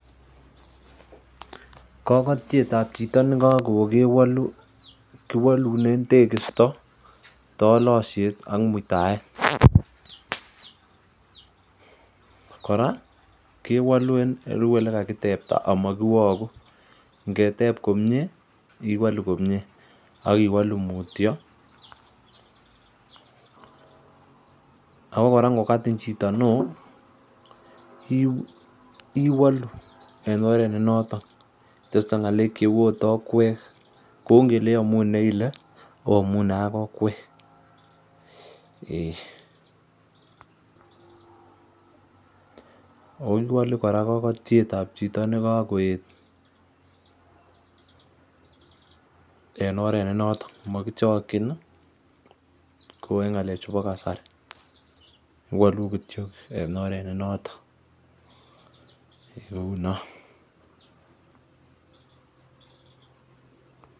Kogotiet ab chito ne kokoet kewolu kiwolunen tekisto, tolosiet ak muitaet. Kora kewolu kou ole kakitebta amakiwogu, ngeteb komie iwolu komie ak iwolu mutyo, ago kora ingokatin chito neo iwolu ago en oret ne noton. kitesto ng'alek cheu ot okwek. Kou ingele iyomunee ile oamunee ak okwek. O kiwolu kora kagoiet ab chito ne kagoet en oret ne noton mokichokin kou en ng'alek chubo kasari iwolu kityo en oret ne noton.